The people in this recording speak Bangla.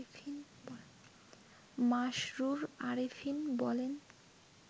মাশরুর আরেফিন বলেন